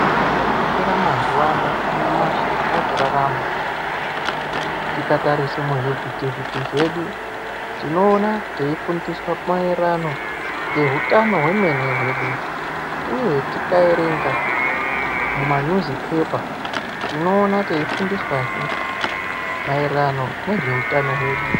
Chakakoshera mazuwa ano anyamashi atakurarama tikatarise muzvivhiti -vhiti zvedu tinoona teifundiswaa maererano ngeutano hwemene hwedu, uye tikaerenga mumapepa nhau tinoona teifundiswa he maererano ngezve utano hwedu.